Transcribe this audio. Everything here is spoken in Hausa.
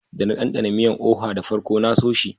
Da na danɗana miyan " oha" da farko na so shi.